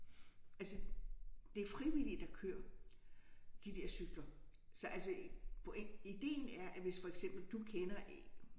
Altså det er frivillige der kører de der cykler. Så altså ideen er at hvis for eksempel du kender én